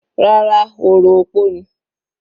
Rárá, orò opó ni.